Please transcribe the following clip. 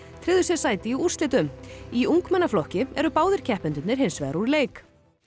tryggðu sér sæti í úrslitum í ungmennaflokki eru báðir keppendurnir hins vegar úr leik